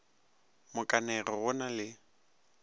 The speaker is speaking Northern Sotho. mo kanege go na le